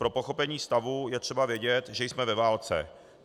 Pro pochopení stavu je třeba vědět, že jsme ve válce.